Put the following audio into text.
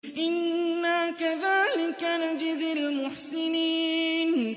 إِنَّا كَذَٰلِكَ نَجْزِي الْمُحْسِنِينَ